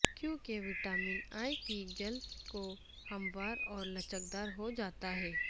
کیونکہ vitamin E کی جلد کو ہموار اور لچکدار ہو جاتا ہے